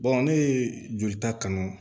ne ye jolita kanu